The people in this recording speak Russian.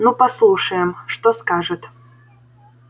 ну послушаем что скажет